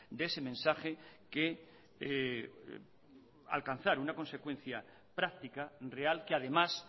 de ese mensaje que alcanzar una consecuencia práctica real que además